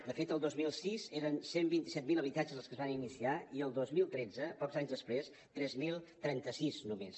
de fet el dos mil sis eren cent i vint set mil habitatges els que es van iniciar i el dos mil tretze pocs anys després tres mil trenta sis només